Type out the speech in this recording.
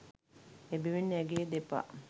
එබැවින් ඇගේ දෙපා